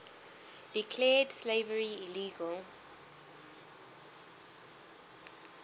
declared slavery illegal